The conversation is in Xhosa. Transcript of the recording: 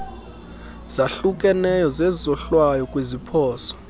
zahlukeneyo zezohlwayo kwiziphoso